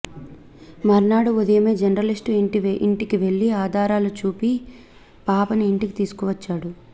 మర్నాడు ఉదయమే జర్నలిస్టు ఇంటికి వెళ్లి ఆధారాలు చూపి పాపని ఇంటికి తీసుకువచ్చారు